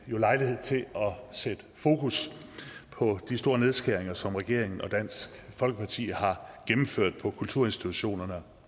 jo lejlighed til at sætte fokus på de store nedskæringer som regeringen og dansk folkeparti har gennemført på kulturinstitutionerne og